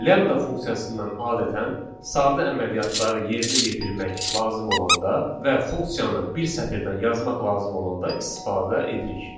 Lambda funksiyasından adətən sadə əməliyyatları yerinə yetirmək lazım olanda və funksiyanı bir sətirdən yazmaq lazım olanda istifadə edirik.